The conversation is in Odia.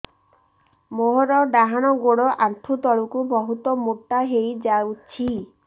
ମୋର ଡାହାଣ ଗୋଡ଼ ଆଣ୍ଠୁ ତଳକୁ ବହୁତ ମୋଟା ହେଇଯାଉଛି